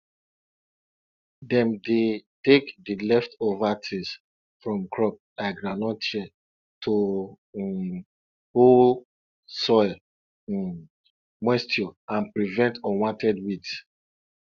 di way dem dey help clean dey help clean pig house na um to um wash um am or to pack di old straws comot